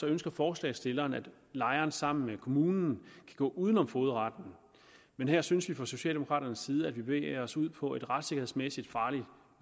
ønsker forslagsstillerne at lejeren sammen med kommunen kan gå uden om fogedretten men her synes vi fra socialdemokraternes side at man bevæger sig ud på en retssikkerhedsmæssigt farlig